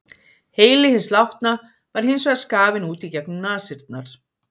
Heili hins látna var hins vegar skafinn út í gegnum nasirnar.